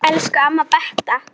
Elsku amma Beta.